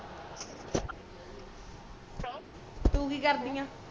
ਤੂੰ ਕਿ ਕਰਦੀ ਆ